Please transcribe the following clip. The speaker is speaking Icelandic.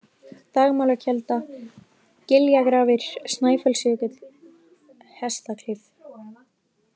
Dagmálakelda, Giljagrafir, Snæfellsjökull, Hestaklif